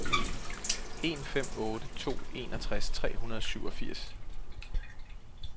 en fem otte to enogtres tre hundrede og syvogfirs